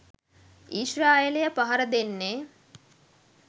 ඊශ්‍රායලය පහර දෙන්නේ?